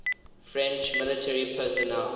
french military personnel